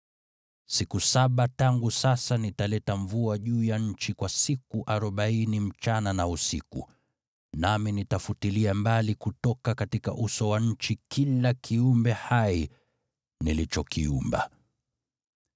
Siku saba kuanzia sasa nitaleta mvua juu ya nchi kwa siku arobaini usiku na mchana, nami nitafutilia mbali kutoka uso wa nchi kila kiumbe hai nilichokiumba.”